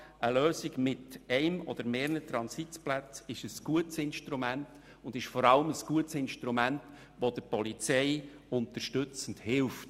Eine Lösung mit einem oder mehreren Transitplätzen ist ein gutes Instrument, vor allem, weil es der Polizei unterstützend hilft.